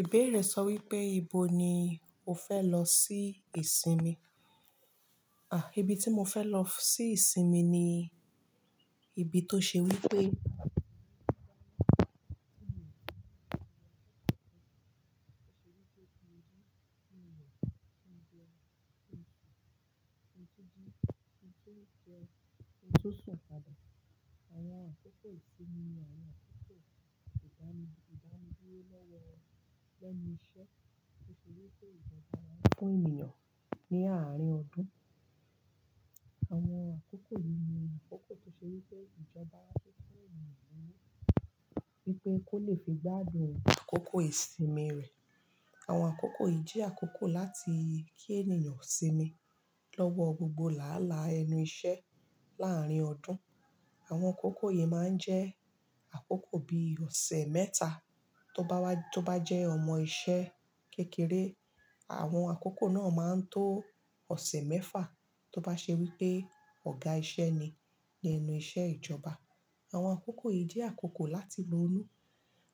Ìbéèrè sọ wípé: Ibo ni o fẹ́ lọ sí ìsinmi? Ibi tí mo fẹ́ lọ sí ìsinmi ni ibi tó ṣe wípé pé kó lè fi gbádùn àkókò ìsinmi rẹ̀. Àwọn àkókò yìí jẹ́ àkókò láti kí ènìyàn sinmi lọ́wọ́ gbogbo láálàá ẹnu iṣẹ́ láàárín ọdún. Àwọn àkókò yìí máa ń jẹ́ àkókò bí ọ̀sẹ̀ mẹ́ta tó bá jẹ́ ọmọ iṣẹ́ kékeré. Àwọn àkókò náà máa ń tó ọ̀sẹ̀ mẹ́fa tó bá ṣe wípé ọ̀gá iṣẹ́ ni lẹ́nu iṣẹ́ ìjọba. Àwọn àkókò yìí jẹ́ àkókò láti ronú,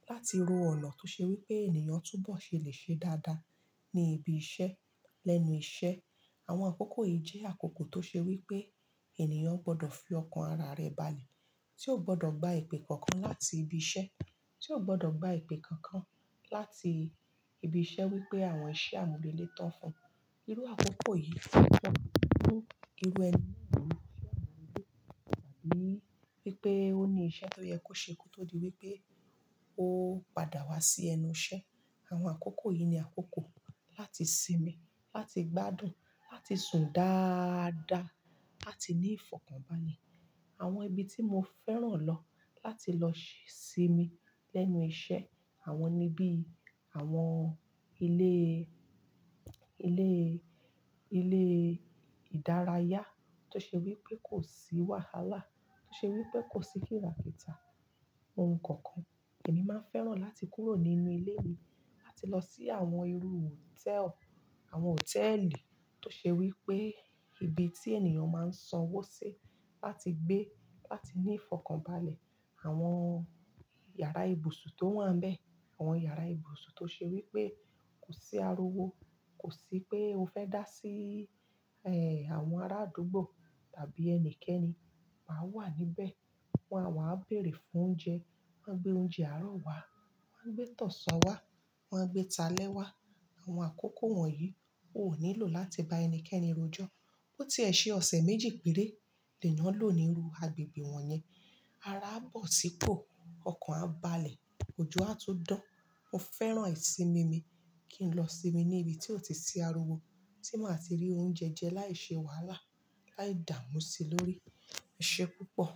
láti ro ọ̀nà tó ṣe wípé ènìyàn túbọ̀ ṣe lè ṣe dáadáa ní ibi iṣẹ́. Lẹ́nu iṣẹ́ àwọn àkókò yìí jẹ́ àkókò tó ṣe wípé ènìyàn gbọ́dọ̀ fi ọkàn ara rẹ̀ balẹ̀ tí ó gbọ́dọ̀ gba ìpè kankan láti ibi iṣẹ́, tí ó gbọ́dọ̀ gba ìpè kankan láti ibi iṣẹ́ wípé àwọn iṣẹ́ àmúrelé tọ́ fún irú àkókò yìí pọ̀. Irú ẹni náà wà ní wípé ó ní iṣẹ́ tó yẹ kó ṣe kó tó di wípé ó padà wá sí ẹnu iṣẹ́. Àwọn àkókò yìí ni àkókò láti sinmi, láti gbádùn, láti sùn dáadáa, láti ní ìfọ̀kànbalẹ̀. Àwọn ibi tí mo fẹ́ràn lọ láti lọ sinmi lẹ́nu iṣẹ́ àwọn nibi àwọn ilé, ilé, ilé ìdárayá tó ṣe wípé kò sí wàhálà, tó ṣe wípé kò sí kìràkìtà ohun kankan. Èmí máa ń fẹ́ràn láti kúrò nínú ilé mi láti lọ sí àwọn irú hòtẹ́ẹ́lì, àwọn hòtẹ́ẹ́lì tó ṣe wípé ibi tí ènìyàn máa ń sanwó sí láti gbé, láti ní ìfọ̀kànbalẹ̀. Àwọn yàrá ibùsùn tó wà níbẹ̀, àwọn yàrá ibùsùn tó ṣe wípé kò sí ariwo, kò sí pé o fẹ́ dá sí, ẹ, àwọn ará àdúgbò tàbí ẹnikẹ́ni máa wà níbẹ̀. Wọn á wá béèrè fún oúnjẹ, wọ́n á gbé oúnjẹ àárọ̀ wá, wọ́n á gbé tọ̀sán wá, wọ́n á gbé talẹ̀ wá. Àwọn àkókò wọ̀nyí, o ò nílò láti bá ẹnikẹ́ni rojọ́. Bó ti ẹ ṣe ọ̀sẹ̀ méjì péré, ènìyàn lò ní irú agbègbè wọ̀nyí. Ara á bọ̀ sípò, ọkàn á balẹ̀, ojú á tún dán. Mo fẹ́ràn ìsinmi mi kí n lọ sinmi ní ibi tí ó ti sí ariwo, tí màá ti rí oúnjẹ jẹ láìṣe wàhálà, láì dààmú sí i lórí ẹṣẹ́ púpọ̀.